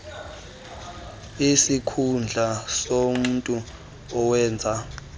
isikhundla somntu owenza